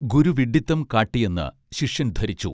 ഗുരു വിഡ്ഢിത്തം കാട്ടിയെന്ന് ശിഷ്യൻ ധരിച്ചു